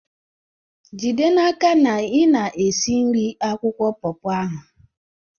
jide n'aka na ị na-esi nri akwụkwọ paw paw ahụ!